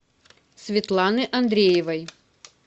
светланы андреевой